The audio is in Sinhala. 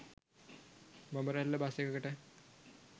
බඹරැල්ල බස් එකකට